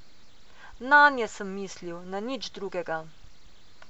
Nanje sem mislil, na nič drugega.